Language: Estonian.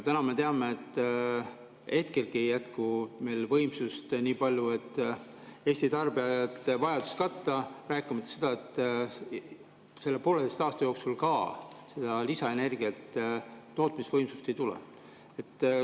Täna me teame, et hetkelgi ei jätku meil võimsust nii palju, et Eesti tarbijate vajadus katta, rääkima sellest, et selle pooleteise aasta jooksul lisaenergia tootmise võimsust ei tule.